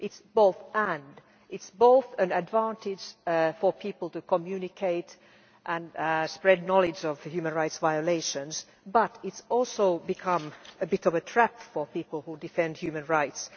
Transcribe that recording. It is both and' it is both an advantage for people to communicate and spread knowledge of human rights violations, but it has also become something of a trap for people who defend human rights.